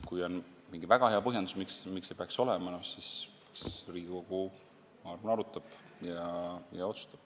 Kui on mingi väga hea põhjendus, miks see peaks olema, siis Riigikogu, ma arvan, seda arutab ja otsustab.